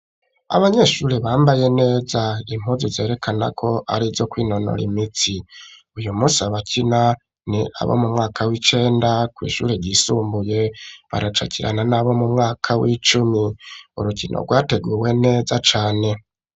Abanyeshuri bambaye neza impuzu zerekana ko arizo kwinonora imitsi, uyu musi abakina ni abo mu mwaka w'icenda kw'ishuri ryisumbuye baracakinana n'abo mu mwaka w'icumi urukino rwateguwe neza cane.